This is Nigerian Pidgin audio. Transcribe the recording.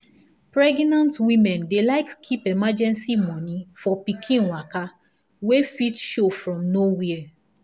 pregenant women dey like keep emergency money for pikin waka wey fit show from nowhere.